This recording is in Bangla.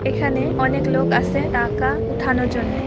এখানে অনেক লোক আছে টাকা উঠানোর জন্যে ।